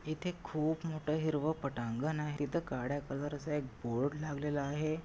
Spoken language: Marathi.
इथे खूप मोठं हिरव पटांगण आहे तिथ काळ्या कलर चा एक बोर्ड लागलेला आहे.